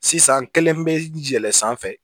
Sisan kelen bɛ yɛlɛn sanfɛ